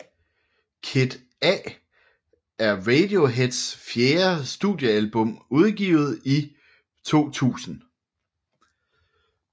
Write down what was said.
Kid A er Radioheads fjerde studiealbum udgivet i 2000